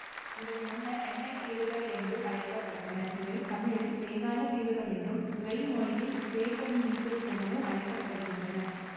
இவை முன்னர் எண்ணெய் தீவுகள் என அழைக்கப்பட்டன இவை தமிழில் பேகான தீவுகள் என்றும் திவெயி மொழியில் ஃபேகண்தீபு எனவும் அழைக்க படுகின்றன